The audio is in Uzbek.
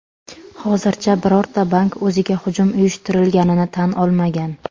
Hozircha birorta bank o‘ziga hujum uyushtirilganini tan olmagan.